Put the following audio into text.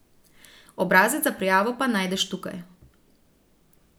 Obrazec za prijavo pa najdeš tukaj.